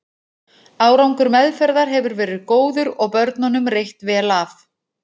Árangur meðferðar hefur verið góður og börnunum reitt vel af.